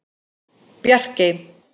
Bjarkey